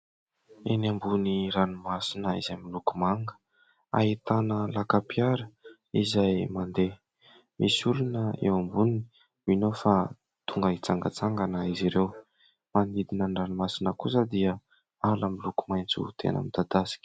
Eny ambony ranomasina izay miloko manga. Ahitana lakam-piara izay mandeha. Misy olona eo amboniny, mino aho fa tonga hitsangatsangana izy ireo. Manodidina ny ranomasina kosa dia ala miloko maitso tena midadasika.